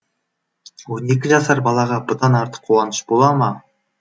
он екі жасар балаға бұдан артық қуаныш бола ма